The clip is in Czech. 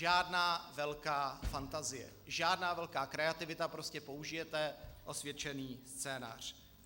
Žádná velká fantazie, žádná velká kreativita, prostě použijete osvědčený scénář.